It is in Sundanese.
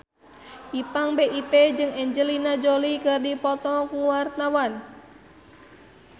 Ipank BIP jeung Angelina Jolie keur dipoto ku wartawan